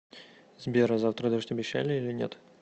сбер а завтра дождь обещали или нет